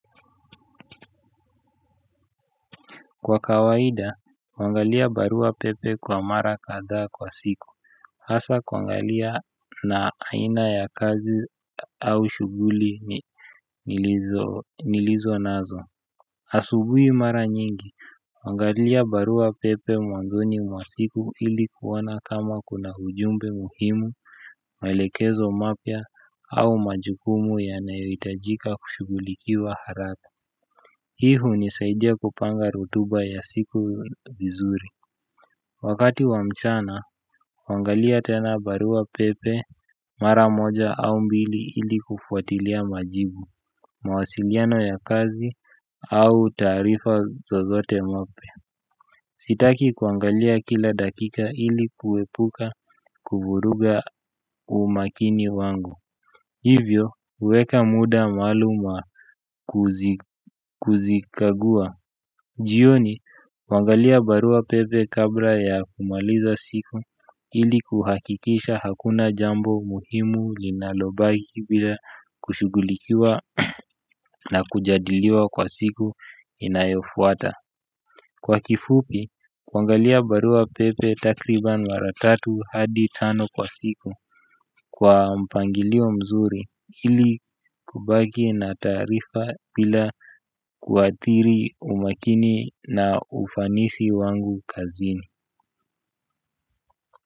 Kwa kawaida, huangalia barua pepe kwa mara kadhaa kwa siku. Hasa, kuangalia na aina ya kazi au shughuli nilizonazo. Asubui mara nyingi, huangalia barua pepe mwanzoni mwa siku ili kuona kama kuna ujumbe muhimu. Maelekezo mapya au majukumu yanayoitajika kushughulikiwa haraka hii hunisaidia kupanga rutuba ya siku vizuri. Wakati wa mchana, huangalia tena barua pepe, mara moja au mbili ili kufuatilia majibu, mawasiliano ya kazi au taarifa zozote mapya. Sitaki kuangalia kila dakika ili kuepuka kuvuruga umakini wangu. Hivyo, uweka muda maalum waa kuzikagua. Jioni, huangalia barua pepe kabla ya kumaliza siku ili kuhakikisha hakuna jambo muhimu linalobaki bila kushughulikiwa na kujadiliwa kwa siku inayofuata. Kwa kifupi, kwangalia barua pepe takriban mara tatu hadi tano kwa siku kwa mpangilio mzuri ili kubaki na taarifa pila kuathiri umakini na ufanisi wangu kazini.